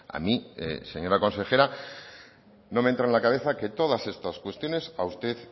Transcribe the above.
a mí señora consejera no me entra en la cabeza que todas estas cuestiones a usted